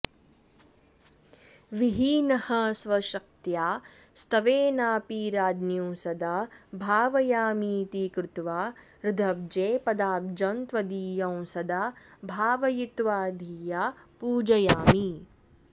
विहीनः स्वशक्त्या स्तवेनापि राज्ञीं सदा भावयामीति कृत्वा हृदब्जे पदाब्जं त्वदीयं सदा भावयित्वा धिया पूजयामि